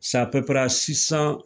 Sape pɛrɛ a sisan